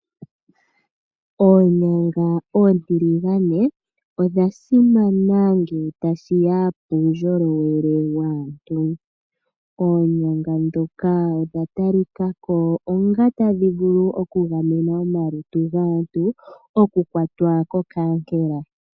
Oonyanga oontiligane odha simana ngele tashi ya puundjolowele waantu. Oonyanga ndhoka odha talikako onga tadhi vulu okugamena omalutu gaantu okukwatwa kokankela.